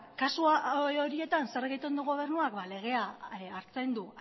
kasu horietan zer egiten du gobernuak legea hartzen du